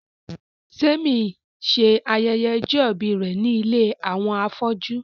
Témi ṣe ayẹyẹ ọjọ́-ìbí rẹ̀ ní ilé àwọn afọ́jú